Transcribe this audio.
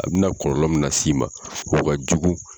A bina kɔlɔlɔ mun las'i ma o ka jugu.